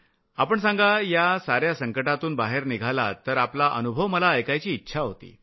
आपण सांगा या साऱ्या संकटातून बाहेर निघालात तर आपला अनुभव मला ऐकायची इच्छा होती